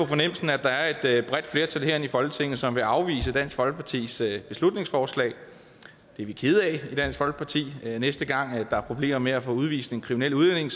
fornemmelsen at der er er et bredt flertal herinde i folketinget som vil afvise dansk folkepartis beslutningsforslag det er vi kede af i dansk folkeparti næste gang der er problemer med at få udvist en kriminel udlænding